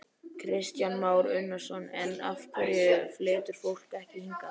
Kristján Már Unnarsson: En af hverju flytur fólk ekki hingað?